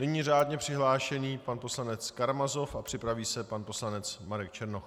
Nyní řádně přihlášený pan poslanec Karamazov a připraví se pan poslanec Marek Černoch.